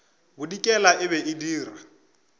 bodikela e be e dira